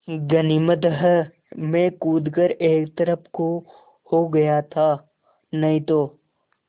गनीमत है मैं कूद कर एक तरफ़ को हो गया था नहीं तो